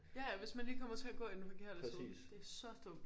Ja ja hvis man lige kommer til at gå i den forkerte side det er så dumt